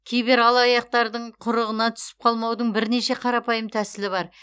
кибералаяқтардың құрығына түсіп қалмаудың бірнеше қарапайым тәсілі бар